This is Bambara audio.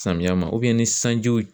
Samiya ma ni sanjiw